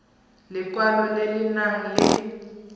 lekwalo le le nang le